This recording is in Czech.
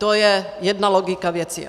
To je jedna logika věci.